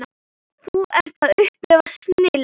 Þú ert að upplifa snilld.